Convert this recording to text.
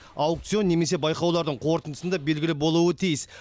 аукцион немесе байқаулардың қорытындысында белгілі болуы тиіс